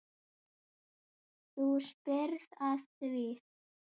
Þú spyrð að því.